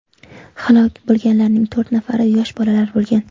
Halok bo‘lganlarning to‘rt nafari yosh bolalar bo‘lgan.